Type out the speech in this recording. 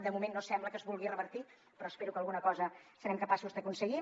de moment no sembla que es vulgui revertir però espero que alguna cosa serem capaços d’aconseguir